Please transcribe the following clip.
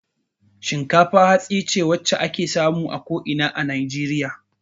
Shinkafa hatsi ce wadda ake samu a ko ina a Najeriya.